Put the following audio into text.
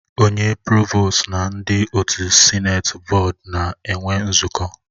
Onye provostu na ndị otu Sịneti bọọdu na-enwe nzukọ